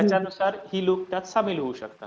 त्यांच्यानुसार हे लोक त्यात सामील होऊ शकतात.